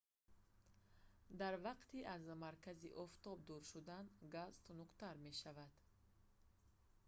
дар вақти аз маркази офтоб дур шудан газ тунуктар мешавад